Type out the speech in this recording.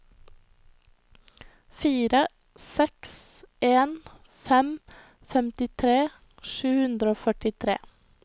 fire seks en fem femtitre sju hundre og førtitre